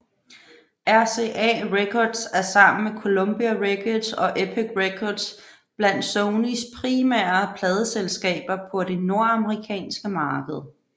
RCA Records er sammen med Columbia Records og Epic Records blandt Sonys primære pladeselskaber på det nordamerikanske marked